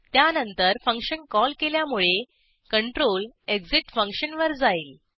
त्यानंतर function call केल्यामुळे control exit function वर जाईल